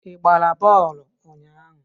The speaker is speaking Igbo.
Ị gbara bọọlụ ụnyahụ?